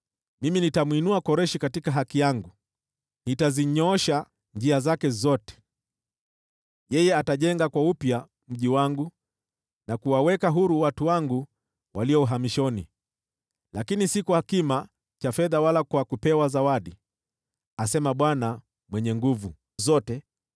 Mimi nitamwinua Koreshi katika haki yangu: nitazinyoosha njia zake zote. Yeye atajenga mji wangu upya, na kuwaweka huru watu wangu walio uhamishoni, lakini si kwa kulipiwa fedha wala kupewa zawadi, asema Bwana Mwenye Nguvu Zote.”